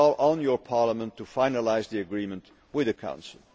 I call on your Parliament to finalise the agreement with the Council.